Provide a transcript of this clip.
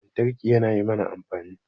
Lantarki yana yi mana amfani